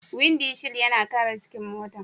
Windi shil yana kare cikin mota.